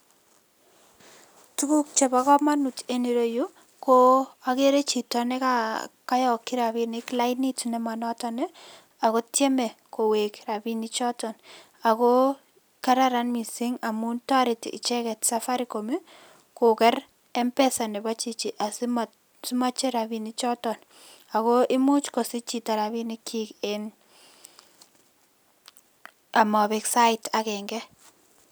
Tuguk chebo kmanut en yuro yuu, ko ageere chito nekayokchi rapinik lainit nema notok ako tiemei kowek rapinik choto ako kararan mising amun toretin icheket Safaricom koker Mpesa nebo chichi asima icher rapinik choto ako imuch kosich chito rapinikchi en amabek sait agenge.